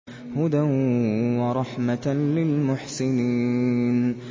هُدًى وَرَحْمَةً لِّلْمُحْسِنِينَ